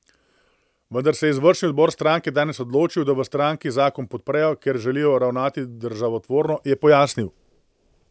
Vendar se je izvršni odbor stranke danes odločil, da v stranki zakon podprejo, ker želijo ravnati državotvorno, je pojasnil.